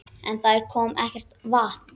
En það kom ekkert vatn.